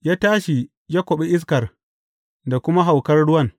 Ya tashi ya kwaɓe iskar da kuma haukar ruwan.